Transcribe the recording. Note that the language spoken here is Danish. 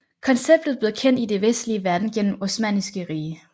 Konceptet blev kendt i den vestlige verden gennem Osmanniske Rige